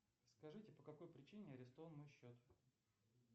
скажите по какой причине арестован мой счет